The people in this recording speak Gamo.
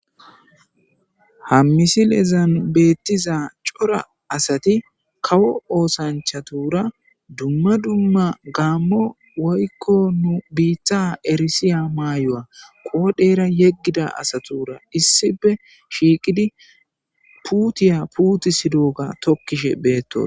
Ha misilezab betiza cora asati kawo osanchatura dumma dumma gamo woyko bita erisiza mayuwa qodhera yegida astura issipe shiiqidi pute putisidoga tukishe betos